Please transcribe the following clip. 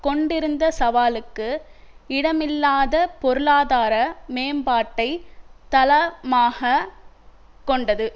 கொண்டிருந்த சவாலுக்கு இடமில்லாத பொருளாதார மேம்பாட்டை தள மாகக் கொண்டது